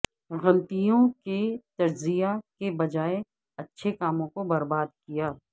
غلطیوں کے تجزیہ کے بجائے اچھے کاموں کو برباد کیا